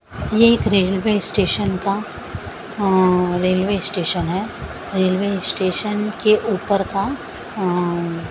ये एक railway station का अंअं रेलवे स्टेशन है रेलवे स्टेशन के ऊपर का अंअं --